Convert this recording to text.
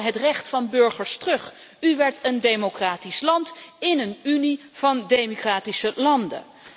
U haalde het recht van de burgers terug. U werd een democratisch land in een Unie van democratische landen.